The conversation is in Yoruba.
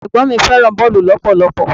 Ẹ̀gbọ́n mi fẹ́ràn boolu lọpọlọpọ.